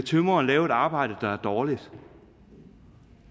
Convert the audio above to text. tømreren lave et arbejde der er dårligt